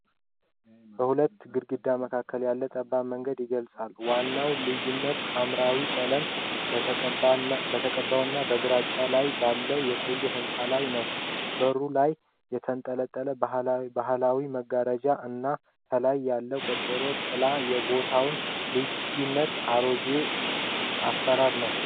በሁለት ግድግዳዎች መካከል ያለውን ጠባብ መንገድ ይግውልጻል። ዋናው ልዩነት ሐምራዊ ቀለም በተቀባውና በግራጫ ላይ ባለው የቆየ ሕንጻ ላይ ነው። በሩ ላይ የተንጠለጠለው ባህላዊ መጋረጃ እና ከላይ ያለው ቆርቆሮ ጥላ የቦታውን ልዩነት እና አሮጌ አሠራር ነው።